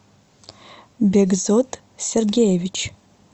бегзот сергеевич